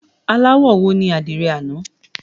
Aláwọ̀ wo ní àdìrẹ àná?